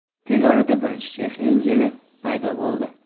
Tez orada birinchi Chexiya Injili paydo bo‘ldi.